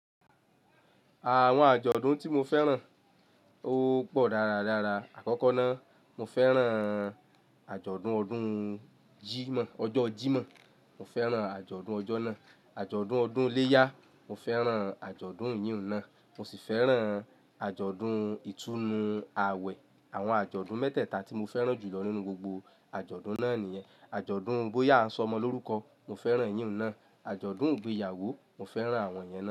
Àwọn àjọ̀dún tí mo fẹ́ràn ó pọ̀ dáradára. Àkọ́kọ́ náà, mo fẹ́ràn àjọ̀dún ọdún Jímọ̀, ọjọ́ Jímọ̀, mo fẹ́ràn àjọ̀dún ọjọ́ náà. Àjọ̀dún ọdún ileya, mo fẹ́ràn àjọ̀dún eyìún náà. Mo sì fẹ́ràn àjọ̀dún ìtúnu àwẹ̀. Àwọn àjọ̀dún mẹ́tẹ̀ẹ̀ta tí mo fẹ́ràn jùlọ nínú gbogbo àjọ̀dún náà nìyẹn. Àjọ̀dún bóyá a ń sọ ọmọ lórúkọ, mo fẹ́ràn eyìún náà. Àjọ̀dún ìgbéyàwó, mo fẹ́ràn àwọn yẹn náà.